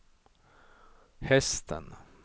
hästen